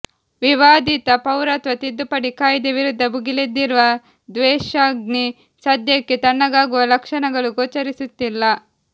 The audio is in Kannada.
ವಿವಾದಿತ ಪೌರತ್ವ ತಿದ್ದುಪಡಿ ಕಾಯ್ದೆ ವಿರುದ್ಧ ಭುಗಿಲೆದ್ದಿರುವ ದ್ವೇಷಾಗ್ನಿ ಸದ್ಯಕ್ಕೆ ತಣ್ಣಗಾಗುವ ಲಕ್ಷಣಗಳು ಗೋಚರಿಸುತ್ತಿಲ್ಲ